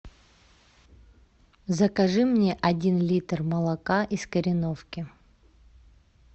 закажи мне один литр молока из кореновки